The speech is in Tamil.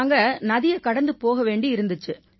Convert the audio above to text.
நாங்க நதியைக் கடந்து போக வேண்டி இருந்திச்சு